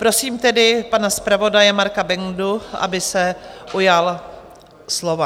Prosím tedy pana zpravodaje Marka Bendu, aby se ujal slova.